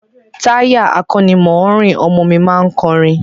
Táyà akọ́nimọ̀ọ́rìn ọmọ mi má ń kọrin